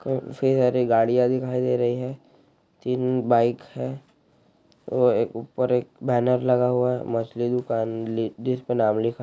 क फिर हरे गाड़ियां दिखाई दे रही हैं तीन बाइक है अ ऊपर एक बैनर लगा हुआ है मछली दुकान ली जिस पे नाम लिखा--